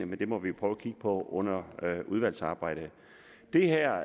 men det må vi prøve at kigge på under udvalgsarbejdet det her